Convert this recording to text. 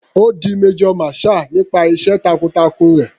Ó di major marshall nípasẹ̀ iṣẹ́ takun-takun rẹ̀.